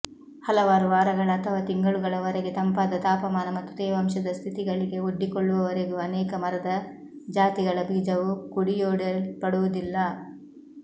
ಹಲವಾರು ವಾರಗಳ ಅಥವಾ ತಿಂಗಳುಗಳವರೆಗೆ ತಂಪಾದ ತಾಪಮಾನ ಮತ್ತು ತೇವಾಂಶದ ಸ್ಥಿತಿಗಳಿಗೆ ಒಡ್ಡಿಕೊಳ್ಳುವವರೆಗೂ ಅನೇಕ ಮರದ ಜಾತಿಗಳ ಬೀಜವು ಕುಡಿಯೊಡೆಯಲ್ಪಡುವುದಿಲ್ಲ